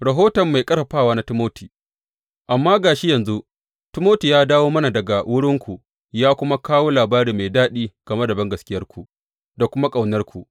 Rahoton mai ƙarfafawa na Timoti Amma ga shi yanzu Timoti ya dawo mana daga wurinku ya kuma kawo labari mai daɗi game da bangaskiyarku da kuma ƙaunarku.